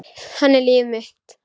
Hann er líf mitt.